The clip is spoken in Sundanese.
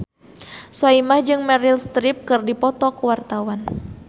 Soimah jeung Meryl Streep keur dipoto ku wartawan